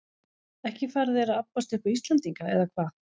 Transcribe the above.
Ekki fara þeir að abbast upp á Íslendinga, eða hvað?